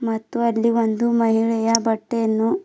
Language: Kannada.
ಮತ್ತು ಅಲ್ಲಿ ಒಂದು ಮಹಿಳೆಯ ಬಟ್ಟೆಯನ್ನು.